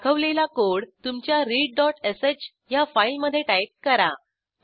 दाखवलेला कोड तुमच्या readश ह्या फाईलमधे टाईप करा